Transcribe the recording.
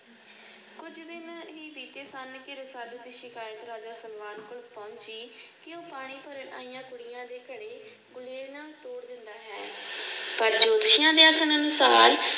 ਰਸਾਲੂ ਦੀ ਸ਼ਿਕਾਇਤ ਕਰ ਦਿਆ ਰਾਜਾ ਸਲਵਾਨ ਕੋਲੇ ਪਹੁੰਚੀ ਕਿ ਉਹ ਪਾਣੀ ਭਰਨ ਆਈਆਂ ਕੁੜੀਆਂ ਦੇ ਘਰੇ ਗੁਲੇਲਾਂ ਤੋੜ ਦਿੰਦਾ ਹੈ। ਪਰ ਜੋਤਸ਼ੀਆਂ ਦੇ ਆਖਣਾਨੁਸਾਰ